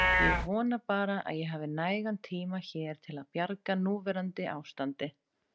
Ég vona bara að ég hafi nægan tíma hér til að bjarga núverandi ástandi.